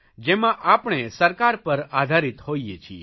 જેમાં આપણે સરકાર પર આધારિત હોઇએ છીએ